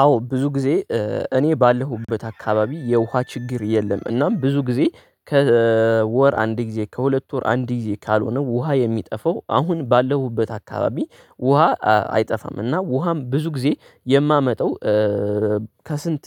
አዎ ብዙ ጊዜ እኔ ባለሁበት አካባቢ የውሃ ችግር የለም እናም ብዙ ጊዜ ከወር አንድ ጊዜ ከሁለት ወር አንድ ጊዜ ካልሆነ ውሃ የሚጠፋው አሁን ባለሁበት አካባቢ ውሃ አይጠፋም እና ውሃም ብዙ ጊዜ የማመጣው ከስንት